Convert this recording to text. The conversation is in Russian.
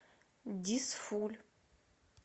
дизфуль